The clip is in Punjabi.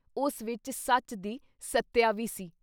ਉਸ ਵਿੱਚ ਸੱਚ ਦੀ ਸੱਤਿਆ ਵੀ ਸੀ।